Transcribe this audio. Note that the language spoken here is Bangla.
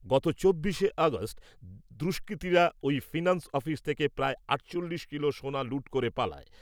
গত চব্বিশে আগস্ট , দুষ্কৃতীরা ওই ফিন্যান্স অফিস থেকে প্রায় আটচল্লিশ কিলো সোনা লুট করে পালায় ।